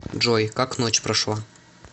джой как ночь прошла